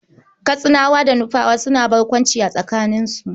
Katsinawa da Nufawa suna barkwanci a tsakaninsu.